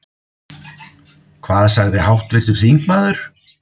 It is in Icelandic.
Hvað sagði háttvirtur þingmaður?